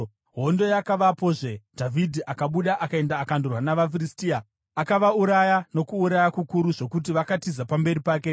Hondo yakavapozve, Dhavhidhi akabuda akaenda akandorwa navaFiristia. Akavauraya nokuuraya kukuru zvokuti vakatiza pamberi pake.